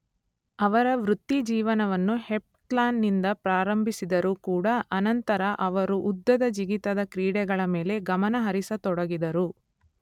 ಅವರ ವೃತ್ತಿಜೀವನವನ್ನು ಹೆಪ್ತ್ಲಾನ್ ನಿಂದ ಪ್ರಾರಂಭಿಸಿದರೂ ಕೂಡ ಅನಂತರ ಅವರು ಉದ್ದದ ಜಿಗಿತದ ಕ್ರೀಡೆಗಳ ಮೇಲೆ ಗಮನ ಹರಿಸತೊಡಗಿದರು.